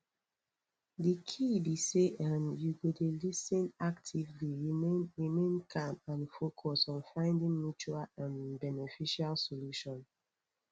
di key be say um you go dey lis ten actively remain remain calm and focus on finding mutual um beneficial solution